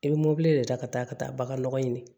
I bɛ mobili de ta ka taa ka taa bagan nɔgɔ ɲini